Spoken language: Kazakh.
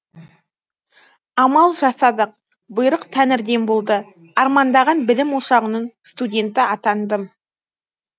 амал жасадық бұйрық тәңірден болды армандаған білім ошағының студенті атандым